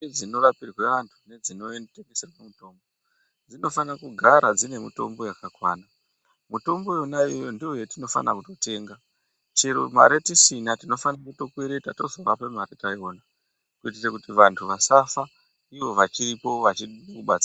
Ndau dzinorapirwe vanhu nedzinotengeserwe mitombo dzinofana kugara dzine mitombo yakawanda. Mitombo iyona iyoyo ndoyatinofane kutotenga. Chero mari tisina tinofane kutokwereta tozovape mari taiwana, kuitire kuti vanhu vasafa ivo vachiripo vachigone kubatsira.